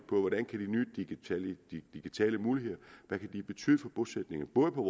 nye digitale muligheder kan betyde for bosætningen både på